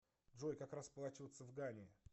джой как расплачиваться в гане